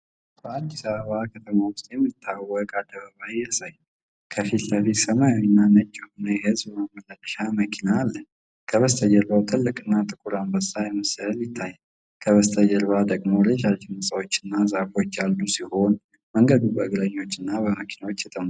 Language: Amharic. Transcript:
በአዲስ አበባ ከተማ ውስጥ የሚታወቅ አደባባይ ያሳያል። ከፊት ለፊት ሰማያዊና ነጭ የሆነ የህዝብ ማመላለሻ መኪና አለ። ከበስተጀርባ ትልቅና ጥቁር የአንበሳ ምስል ይታያል። ከበስተኋላ ደግሞ ረዣዥም ሕንፃዎችና ዛፎች ያሉ ሲሆን፤ መንገዱ በእግረኞችና በመኪናዎች የተሞላ ነው።